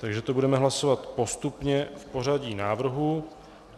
Takže to budeme hlasovat postupně v pořadí návrhů.